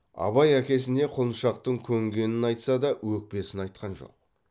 абай әкесіне құлыншақтың көнгенін айтса да өкпесін айтқан жоқ